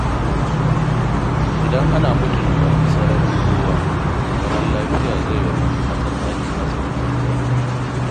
Idan ana mutunta sararin kowa, zaman lafiya zai wanzu a tsakanin mazauna gida.